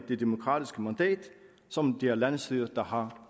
det demokratiske mandat som det er landsstyret der har